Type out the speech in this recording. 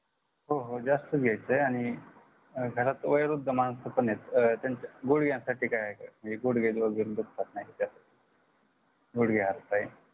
हो हो जास्त घ्यायच आहे आणि घरात वयोवृद्ध मानस पण आहेत व त्याच्या गुडग्यासाठी आहे का म्हणजे गुडगे वगेरे दुखतातणा याचात गुडगे हात पाय